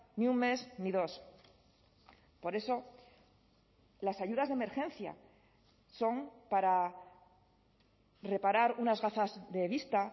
ni un mes ni dos por eso las ayudas de emergencia son para reparar unas gafas de vista